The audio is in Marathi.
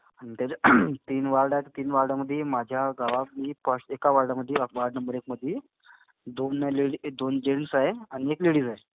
आणि त्याच्या तीन वॉर्ड आहेत. तीन वॉर्डामधी माझ्या गावातली एका वॉर्डामधी वॉर्ड नंबर एकमधी दोन लेडी, दोन जेन्टस आहे आणि एक लेडीज आहे.